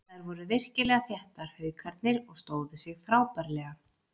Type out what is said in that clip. Þær voru virkilega þéttar Haukarnir og stóðu sig frábærlega.